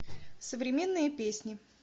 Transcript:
современные песни